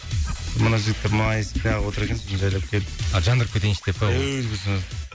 мына жігіттер майысып нағып отыр екен сосын жайлап келіп а жандырып кетейінші деп па